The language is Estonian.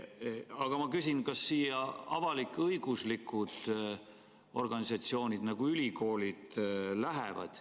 Aga kas sellised avalik-õiguslikud organisatsioonid nagu ülikoolid käivad siia alla?